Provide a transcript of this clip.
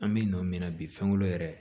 An bɛ nɔ min na bi sangolo yɛrɛ